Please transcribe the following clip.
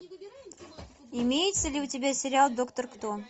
имеется ли у тебя сериал доктор кто